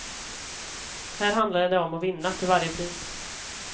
Här handlade det om att vinna, till varje pris.